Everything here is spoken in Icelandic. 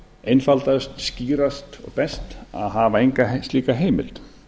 einfaldast skýrast og best að hafa enga slíka heimild